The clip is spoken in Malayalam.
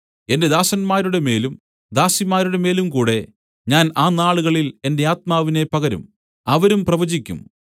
എന്റെ ദാസന്മാരുടെമേലും ദാസിമാരുടെമേലും കൂടെ ഞാൻ ആ നാളുകളിൽ എന്റെ ആത്മാവിനെ പകരും അവരും പ്രവചിക്കും